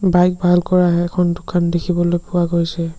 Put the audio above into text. Bike ভাল কৰা সেইখন দোকান দেখিবলৈ পোৱা গৈছে।